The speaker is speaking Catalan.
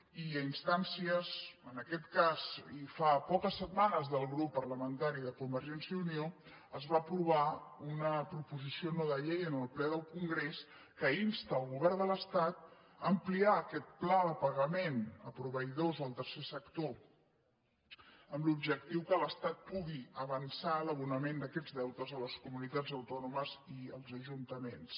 i a ins·tàncies en aquest cas i fa poques setmanes del grup parlamentari de convergència i unió es va aprovar una proposició no de llei en el ple del congrés que insta el govern de l’estat a ampliar aquest pla de pa·gament a proveïdors del tercer sector amb l’objectiu que l’estat pugui avançar l’abonament d’aquests deu·tes a les comunitats autònomes i als ajuntaments